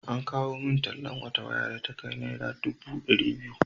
An kawo min tallan wata waya da ta kai naira dubu ɗari biyu.